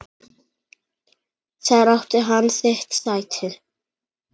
Þar átti hann sitt sæti.